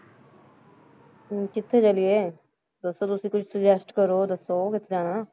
ਹਮ ਕਿੱਥੇ ਚੱਲੀਏ, ਦੱਸੋ ਤੁਸੀਂ ਕੋਈ suggest ਕਰੋ, ਦੱਸੋ ਕਿੱਥੇ ਜਾਣਾ?